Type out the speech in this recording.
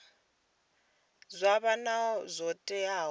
zwa vha zwo tea na